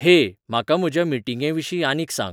हेय म्हाका म्हज्या मिटींगेंविशीं आनीक सांग